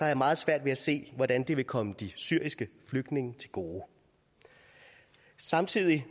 jeg meget svært ved at se hvordan det vil komme de syriske flygtninge til gode samtidig